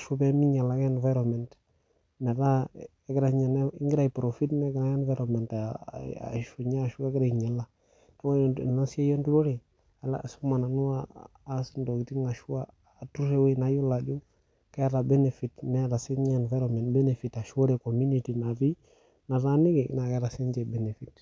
aas pee minyial ake environment aaku egira aiprofit negira environment ainyiala ore ena siai enturore ashomo nanu atur naata benefit Neeta sinye [cs environment benefit ashu ore community nataniki naa keeta sininche benefit